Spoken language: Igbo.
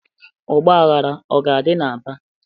Ọgbaghara ọ ga-adị n'Aba?